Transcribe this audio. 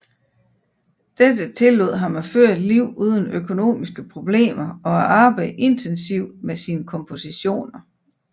Dette tillod ham at føre et liv uden økonomiske problemer og at arbejde intensivt med sine kompositioner